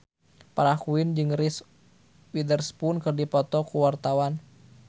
Farah Quinn jeung Reese Witherspoon keur dipoto ku wartawan